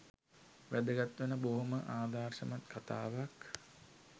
වැදගත් වෙන බොහොම ආදර්ශමත් කතාවක්.